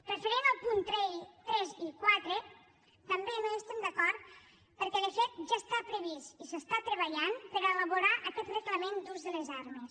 referent als punts tres i quatre tampoc no hi estem d’acord perquè de fet ja està previst i s’està treballant per elaborar aquest reglament d’ús de les armes